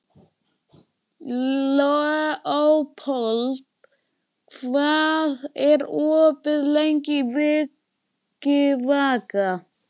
Leópold, hvað er opið lengi í Vikivaka?